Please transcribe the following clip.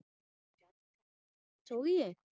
ਉਹ ਵੀ ਹੈ